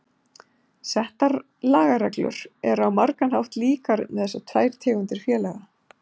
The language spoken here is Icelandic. Settar lagareglur eru á margan hátt líkar um þessar tvær tegundir félaga.